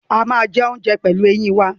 We chew food with our teeth